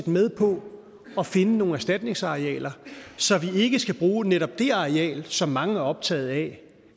med på at finde nogle erstatningsarealer så vi ikke skal bruge netop det areal som mange er optaget af